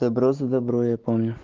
добро за добро я помню